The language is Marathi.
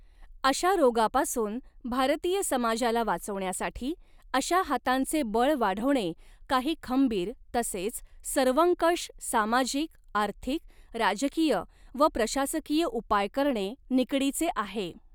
अशा रोगापासून भारतीय समाजाला वाचवण्यासाठी अशा हातांचे बळ वाढवणे कांही खंबीर तसेच सर्वंकष सामाजिक आर्थिक राजकीय व प्रशासकीय उपाय करणे निकडीचे आहे.